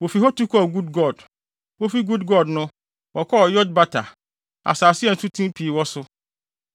Wofi hɔ tu kɔɔ Gudgod. Wofi Gudgod no, wɔkɔɔ Yotbata, asase a nsuten pii wɔ so.